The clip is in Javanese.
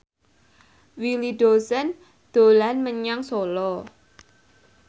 Willy Dozan dolan menyang Solo